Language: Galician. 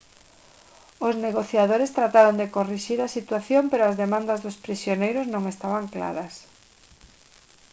os negociadores trataron de corrixir a situación pero as demandas dos prisioneiros non estaban claras